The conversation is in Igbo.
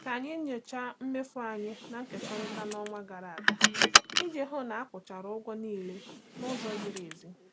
Ka anyị nyochaa mmefu anyị na-ekekọrịta n'ọnwa gara aga iji hụ na akwụchara ụgwọ niile n'ụzọ ziri ezi.